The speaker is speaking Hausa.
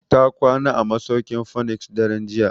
Ta kwana a masauki'n phoenix daren jiya.